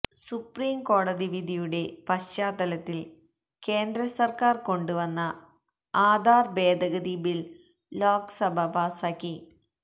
സുപ്രീംകോടതി വിധിയുടെ പശ്ചാത്തലത്തില് കേന്ദ്ര സര്ക്കാര് കൊണ്ടുവന്ന ആധാര് ഭേദഗതി ബില് ലോക്സഭ പാസാക്കി